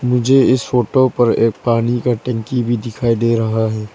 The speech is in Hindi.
मुझे इस फोटो पर एक पानी का टंकी भी दिखाई दे रहा है।